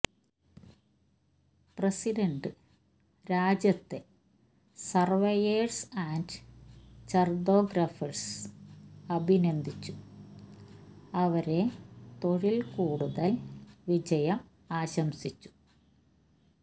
president രാജ്യത്തെ surveyors and cartographers അഭിനന്ദിച്ചു അവരെ തൊഴിൽ കൂടുതൽ വിജയം ആശംസിച്ചു